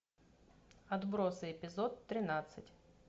отбросы эпизод тринадцать